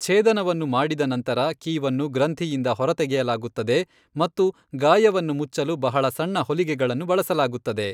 ಛೇದನವನ್ನು ಮಾಡಿದ ನಂತರ, ಕೀವನ್ನು ಗ್ರಂಥಿಯಿಂದ ಹೊರತೆಗೆಯಲಾಗುತ್ತದೆ ಮತ್ತು ಗಾಯವನ್ನು ಮುಚ್ಚಲು ಬಹಳ ಸಣ್ಣ ಹೊಲಿಗೆಗಳನ್ನು ಬಳಸಲಾಗುತ್ತದೆ.